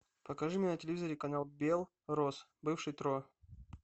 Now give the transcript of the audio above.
покажи мне на телевизоре канал белрос бывший тро